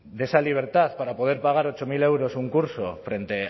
de esa libertad para poder pagar ocho mil euros un curso frente